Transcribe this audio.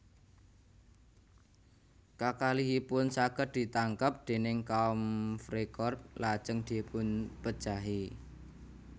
Kakalihipun saged ditangkep déning kaum Freikorps lajeng dipunpejahi